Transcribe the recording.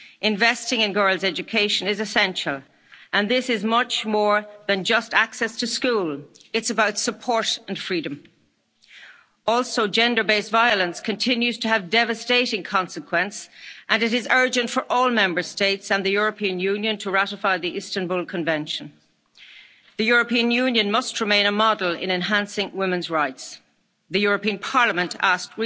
challenges. Investing in girls' education is essential and this is much more than just access to schooling. It is about support and freedom. Also, gender based violence continues to have devastating consequences and it is urgent that all Member States and the European Union ratify the Istanbul Convention. The European Union must remain a model in enhancing women's rights. Recently, the European